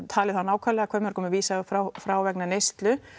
talið það nákvæmlega hversu mörgum er vísað frá frá vegna neyslu